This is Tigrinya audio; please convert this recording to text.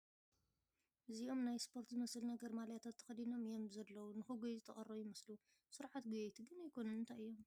እዚኦም ናይ እስፖርት ዝመስል ነገር ማልያታት ተኸዲኖም እዮም ዘለዉ ንኽጎዩ ዝተቐረቡ ይመስሉ ፡ ስሩዓት ጎየይቴ ግን ኣይኮኑ ን እንታይ'ዮም ?